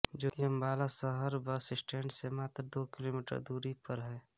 जोकि अंबाला शहर bus stand से मात्र दो किलोमीटर की दूरी पर है